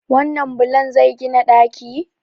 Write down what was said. wannan bulon zai gina ɗaki?